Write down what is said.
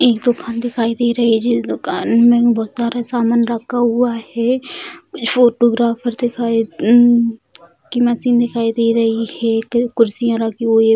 एक दुकान दिखाई दे रही है जिस दुकान में बहुत सारा सामान रखा हुआ है | फोटोग्राफर दिखाए की मशीन दिखाई दे रही है कुर्सियाँ रखी हुई है ।